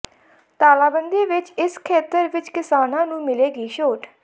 ਤਾਲਾਬੰਦੀ ਵਿੱਚ ਇਸ ਖੇਤਰ ਵਿੱਚ ਕਿਸਾਨਾਂ ਨੂੰ ਮਿਲੇਗੀ ਛੋਟ